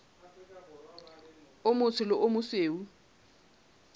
o motsho le o mosweu